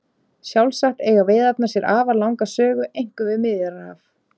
Sjálfsagt eiga veiðarnar sér afar langa sögu einkum við Miðjarðarhaf.